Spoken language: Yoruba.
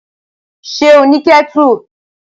Ṣé ó ní kẹ́tù?